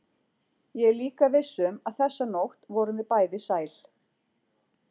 Ég er líka viss um að þessa nótt vorum við bæði sæl.